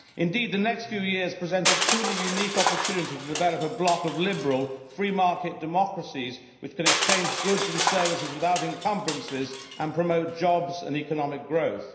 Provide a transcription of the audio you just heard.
Indeed, the next few years present a truly unique opportunity to develop a bloc of liberal, free market democracies which can exchange goods and services without encumbrances and promote jobs and economic growth.